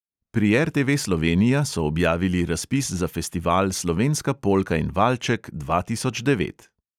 Pri RTV slovenija so objavili razpis za festival slovenska polka in valček dva tisoč devet.